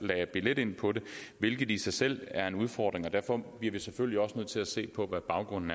lagde billet ind på det hvilket i sig selv er en udfordring og derfor bliver vi selvfølgelig også nødt til at se på hvad baggrunden